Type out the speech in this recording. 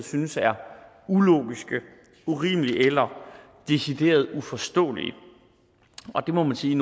synes er ulogiske urimelige eller decideret uforståelige det må man sige